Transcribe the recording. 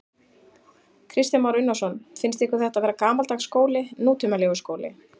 Kristján Már Unnarsson: Finnst ykkur þetta vera gamaldags skóli, nútímalegur skóli?